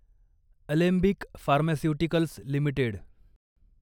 Alembic Pharmaceuticals limited